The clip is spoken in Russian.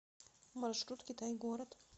маршрут китай город